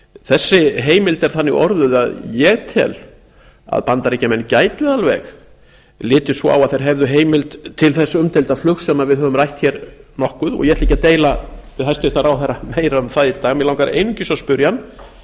þessi heimild er þannig orðuð að ég tel að bandaríkjamenn gætu alveg litið svo á að þeir hefðu heimild til þess umdeilda flugs sem við höfum rætt hér nokkuð og ég ætla ekki að deila við hæstvirtan ráðherra um það í dag mig langar einungis að spyrja hann